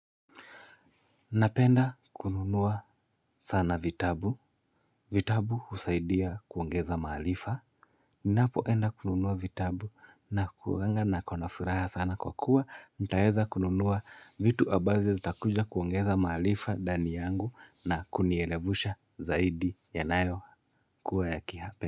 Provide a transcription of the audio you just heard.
Napenda kununua sana vitabu vitabu husaidia kuongeza maarifa. Ninapoenda kununua vitabu na kuwanga nkona furaha sana kwa kuwa ntaweza kununua vitu ambazo zitakuja kuongeza maarifa ndani yangu na kunierevusha zaidi ya nayo kuwa ya kihapenda.